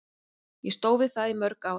Ég stóð við það í mörg ár.